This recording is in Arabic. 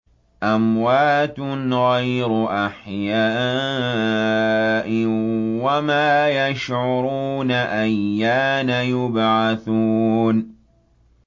أَمْوَاتٌ غَيْرُ أَحْيَاءٍ ۖ وَمَا يَشْعُرُونَ أَيَّانَ يُبْعَثُونَ